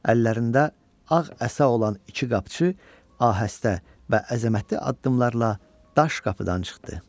Əllərində ağ əsa olan iki qapçı ahəstə və əzəmətli addımlarla daş qapıdan çıxdı.